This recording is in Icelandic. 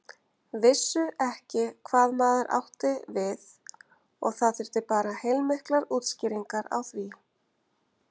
Vissu ekki hvað maður átti við og það þurfti bara heilmiklar útskýringar á því.